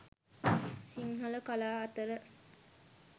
සිංහල කලා අතර